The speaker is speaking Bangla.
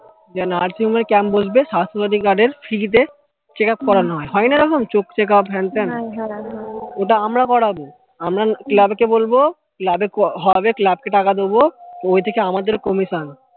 যে nursing home এ camp বসবে স্বাস্থ্য সাথী card এর free তে check up করানো হয় হয় না এরকম চোখ check up হ্যান ত্যান ওটা আমরা করাবো আমরা club কে বলবো club এ হবে club কে টাকা দেব তো ওই থেকে আমাদের comisson